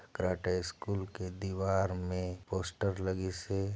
Karate school के दीवार में पोस्टर लगीस हे।